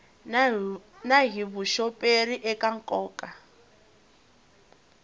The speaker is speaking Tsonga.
na hi vuxoperi eka nkoka